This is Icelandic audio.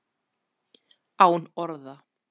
Án orða.